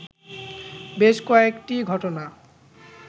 বেশ কয়েকটি ঘটনা